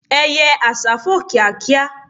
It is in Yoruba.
eye àsá fò kíákíá